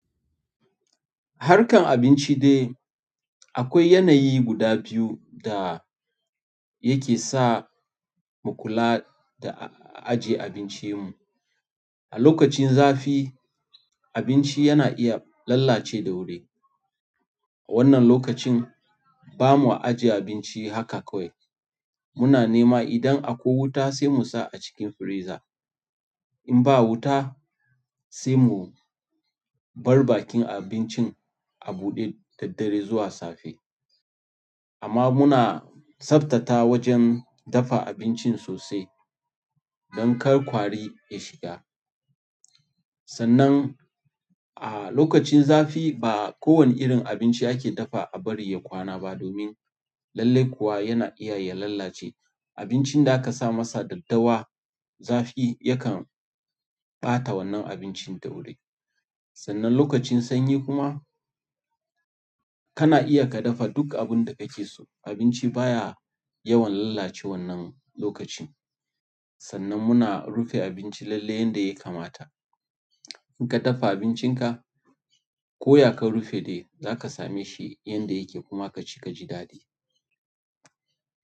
Harkan abinci dai, akwai yanayi guda biyu da yake sa mu kula da aje abincin mu. A lokacin zafi, abinci yana iya lalace da wuri. A wannan lokacin bamu aje abinci haka kawai. Muna nema idan akwai wuta sai mu sa a cikin freezer. In ba wuta sai mu bar bakin abincin a buɗe da dare zuwa safe. Amma muna tsabtata wajen dafa abincin sosai don kar ƙwari ya shiga. Sannan a lokacin zafi ba kowane irin abinci ake dafa a bari ya kwana ba domin lallai kuwa yana iya ya lalace abincin da aka sa masa daddawa zafi yakan ɓata wannan abincin da wuri. Sannan lokacin sanyi kuma kana iya ka dafa duk abun da kake so. Abinci baya yawan lalacewan nan lokacin. Sannan muna rufe abinci lalle yanda ya kamata. In ka dafa abincinka, ko ya ka rufe dai zaka same shi yanda yake kuma ka ci ka ji daɗi.